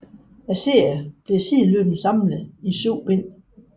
Serien blev sideløbende samlet i syv bind